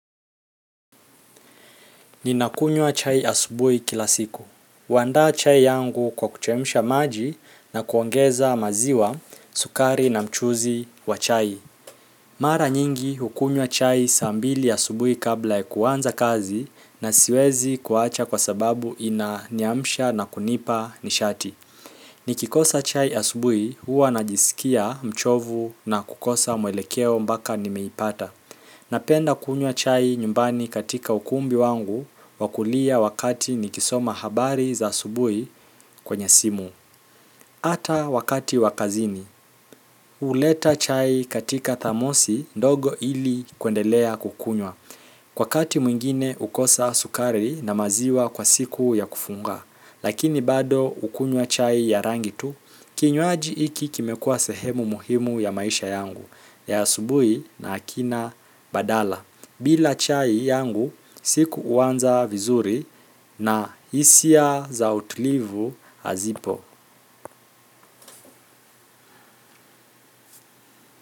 Ninakunywa chai asubuhi kila siku. Huandaa chai yangu kwa kuchemsha maji na kuongeza maziwa sukari na mchuzi wa chai. Mara nyingi hukunywa chai saa mbili asubuhi kabla ya kuanza kazi na siwezi kuwacha kwa sababu inaniamsha na kunipa nishati. Nikikosa chai asubuhi huwa najisikia mchovu na kukosa mwelekeo mpaka nimeipata. Napenda kunywa chai nyumbani katika ukumbi wangu wa kulia wakati nikisoma habari za asubuhi kwenye simu. Ata wakati wa kazini. Huleta chai katika thamosi ndogo ili kuendelea kukunywa. Wakati mwingine hukosa sukari na maziwa kwa siku ya kufunga. Lakini bado hukunywa chai ya rangi tu. Kinywaji hiki kimekuwa sehemu muhimu ya maisha yangu ya asubuhi na hakina badala. Bila chai yangu, siku huanza vizuri na hisia za utulivu hazipo.